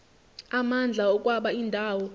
amandla okwaba indawo